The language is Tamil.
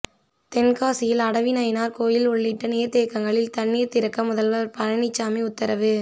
தென்காசியில் அடவிநயினார்கோவில் உள்ளிட்ட நீர்த்தேக்கங்களில் தண்ணீர் திறக்க முதல்வர் பழனிசாமி உத்தரவு